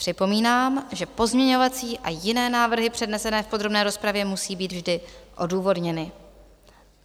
Připomínám, že pozměňovací a jiné návrhy přednesené v podrobné rozpravě musí být vždy odůvodněny.